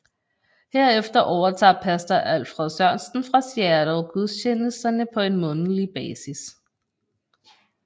Herefter overtager Pastor Alfred Sørensen fra Seattle gudstjenesterne på en månedlig basis